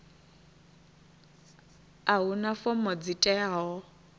a huna fomo dzi teaho